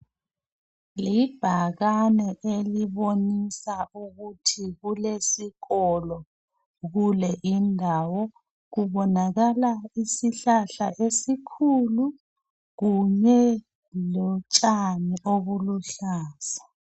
Libhakani elibonisa ukuthi kulesikolo kule indawo ubonakala isihlahla esikhulu kunye lotshani oluluhlaza